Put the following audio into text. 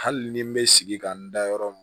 Hali ni n bɛ sigi ka n da yɔrɔ min